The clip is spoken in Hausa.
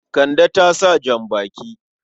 Kande ta sa jan-baki.